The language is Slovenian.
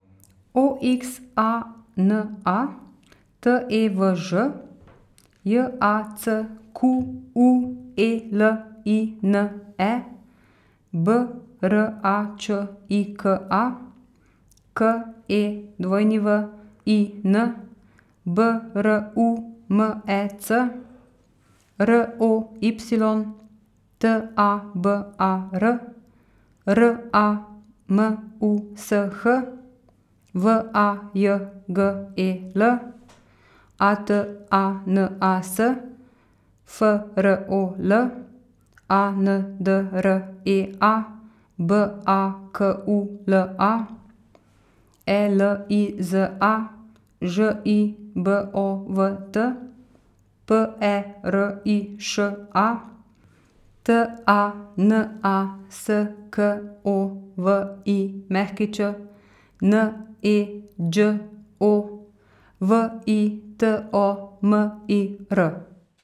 O X A N A, T E V Ž; J A C Q U E L I N E, B R A Č I K A; K E W I N, B R U M E C; R O Y, T A B A R; R A M U S H, V A J G E L; A T A N A S, F R O L; A N D R E A, B A K U L A; E L I Z A, Ž I B O V T; P E R I Š A, T A N A S K O V I Ć; N E Đ O, V I T O M I R.